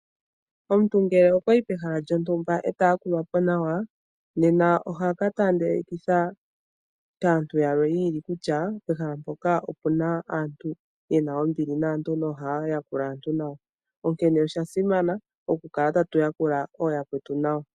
Omuntu ngele okwayi pehala lyontumba ndele eta yakulwapo nawa nena ohaka tandelikitha uuyelele kaantu kutya pehala lyontumba opuna aantu yena ombili naantu yo oha ya yakula aantu nawa, onkene oshasimana okukala tatu yakula ooyakwetu nawa.